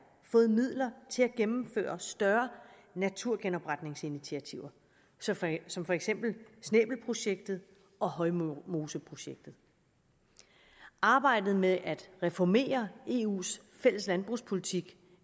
fået midler til at gennemføre større naturgenopretningsinitiativer som for eksempel snæbelprojektet og højmoseprojektet arbejdet med at reformere eus fælles landbrugspolitik